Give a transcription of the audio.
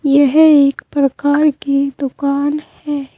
यह एक प्रकार की दुकान है।